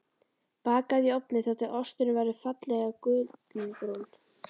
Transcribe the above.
Bakað í ofni þar til osturinn verður fallega gullinbrúnn.